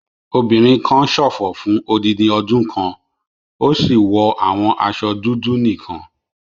Obìnrin kan ṣòfò fún odindi ọdún kan, ó sì wọ àwọn aṣọ dúdú nìkan.